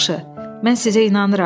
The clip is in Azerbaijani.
Yaxşı, mən sizə inanıram.